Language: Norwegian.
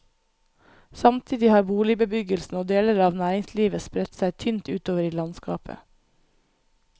Samtidig har boligbebyggelsen og deler av næringslivet spredt seg tynt utover i landskapet.